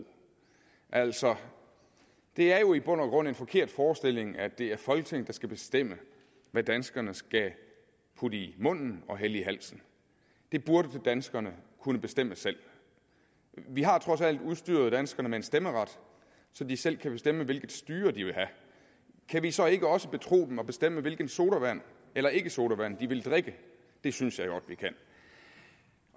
altså det er jo i bund og grund en forkert forestilling at det er folketinget der skal bestemme hvad danskerne skal putte i munden og hælde i halsen det burde danskerne kunne bestemme selv vi har trods alt udstyret danskerne med en stemmeret så de selv kan bestemme hvilket styre de vil have kan vi så ikke også betro dem at bestemme hvilken sodavand eller ikkesodavand de vil drikke det synes jeg godt vi kan